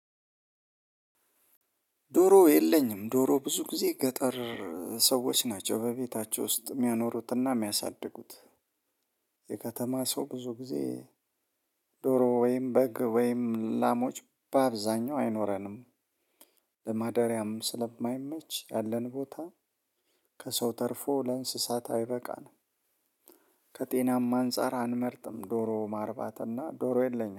ዶሮ የለኝም። ዶሮ ብዙ ጊዜ ገጠር ሰዎች ናቸው በቤታቸው ውስጥ የሚያኖሩትና የሚያሳድጉት የከተማ ሰው ብዙ ጊዜ ዶሮ ወይም በግ ወይም ላሞች በአብዛኛው አይኖረንም። ለማደሪያም ስለማይመች ያለን ቦታ ከሰው ተርፎ ለእንሰሳት አይበቃም። ከጤናም አንፃር አንመርጥም። ዶሮ ማርባትና ዶሮ የለኝም።